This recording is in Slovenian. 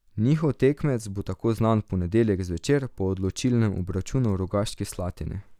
Njihov tekmec bo tako znan v ponedeljek zvečer po odločilnem obračunu v Rogaški Slatini.